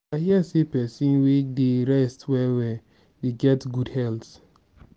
i hear sey pesin wey dey rest well-well dey get good health.